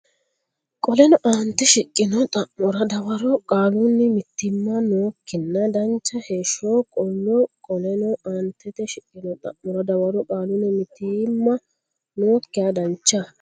Qoleno aantete shiqqino xa mora dawaro qaalunni mitiimma nookkinna dancha heeshsho qollo Qoleno aantete shiqqino xa mora dawaro qaalunni mitiimma nookkinna dancha.